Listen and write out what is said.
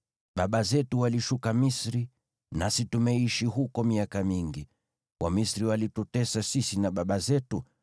Baba zetu walishuka Misri, nasi tumeishi huko miaka mingi. Wamisri walitutesa sisi na baba zetu,